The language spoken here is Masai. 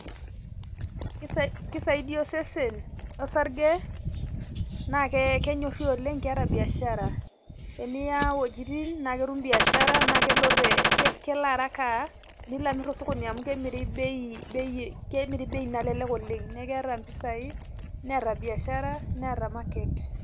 Kisaidia osesen osarge, na kenyorri oleng keeta biashara. Eniya iwuejiting',na ketum biashara na kelo te kelo araka nilo amir tosokoni amu kemiri bei bei kemiri bei nalelek oleng'. Keeta mpisai, neeta biashara, neeta market.